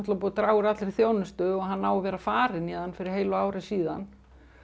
búið að draga úr allri þjónustu og hann á að vera farinn héðan fyrir heilu ári síðan